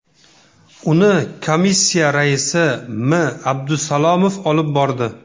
Uni komissiya raisi M. Abdusalomov olib bordi.